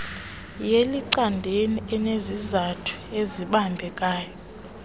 yelicandelo unezizathu ezibambekayo